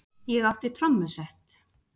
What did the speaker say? Ég átti trommusett.